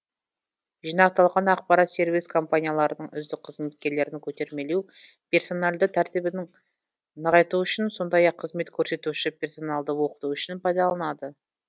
жинақталған ақпарат сервис компанияларының үздік қызметкерлерін көтермелеу персоналді тәртібін нығайту үшін сондай ақ қызмет көрсетуші персоналды оқыту үшін пайдаланылады